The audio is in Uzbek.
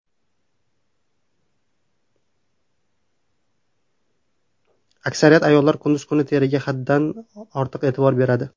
Aksariyat ayollar kunduz kuni teriga haddan ortiq e’tibor beradi.